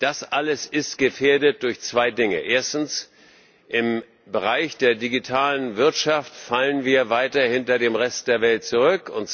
Das alles ist gefährdet durch zwei Dinge Erstens, im Bereich der Digitalen Wirtschaft fallen wir weiter hinter dem Rest der Welt zurück.